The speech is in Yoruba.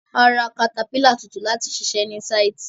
A ra katapílà tuntun láti ṣiṣẹ ní sáìtì.